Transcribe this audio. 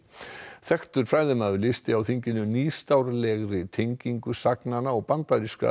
þekktur fræðimaður lýsti á þinginu nýstárlegri tengingu sagnanna og bandarískra